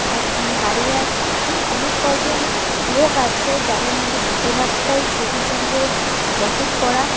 একজন দাঁড়িয়ে আছে এন অনেক কয়জন লোক আছে যাদের মধ্যে বেশিরভাগটাই সবুজ রঙ্গের জ্যাকেট পরা।